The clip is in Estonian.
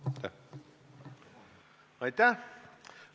Aitäh!